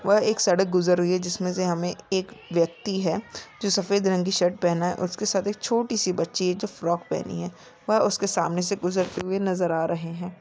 वह एक सड़क गुजर रही है जिसमें से हमें एक व्यक्ति है जो सफेद रंग की शर्ट पहना है और उसके साथ एक चोटी सी बच्ची है जो फ्राक पहनी है वह उसके सामने से गुजरते हुए नजर आ रहे है।